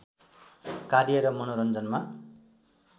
कार्य र मनोरञ्जनमा